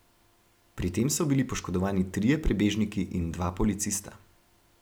Pri tem so bili poškodovani trije prebežniki in dva policista.